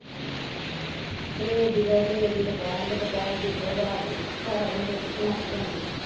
ਸਵੇਰੇ ਦੀ ਖਾਓ। ਸਵੇਰ ਦੀ ਦੁਪਹਿਰ ਨੂੰ। ਦੁਪਹਿਰ ਦੀ ਫਿਰ ਰਾਤ ਨੂੰ। ਸਾਰਾ ਦਿਨ ਰੋਟੀ ਚ ਲੰਘ ਜਾਂਦੀ ਏ।